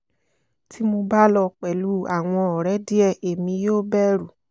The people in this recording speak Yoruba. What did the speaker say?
ti mo ba lọ pẹlu awọn ọrẹ diẹ emi yoo bẹru